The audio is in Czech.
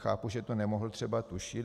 Chápu, že to nemohl třeba tušit.